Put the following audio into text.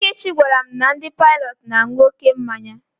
Ikechi gwara m na ndị Paịlọt na-aṅụ oké mmanya